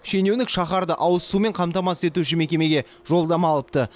шенеунік шаһарды ауызсумен қамтамасыз етуші мекемеге жолдама алыпты